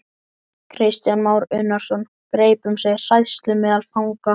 Kristján Már Unnarsson: Greip um sig hræðsla meðal fanga?